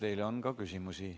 Teile on ka küsimusi.